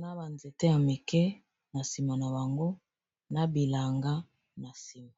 na banzete ya mike na nsima na bango na bilanga na nsima